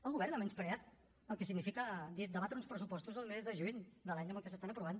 el govern ha menyspreat el que significa debatre uns pressupostos el mes de juny de l’any en què s’estan aprovant